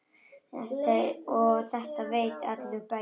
Og þetta veit allur bærinn?